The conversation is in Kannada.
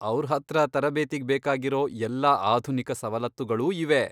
ಅವ್ರ್ ಹತ್ರ ತರಬೇತಿಗ್ ಬೇಕಾಗಿರೋ ಎಲ್ಲಾ ಆಧುನಿಕ ಸವಲತ್ತುಗಳೂ ಇವೆ.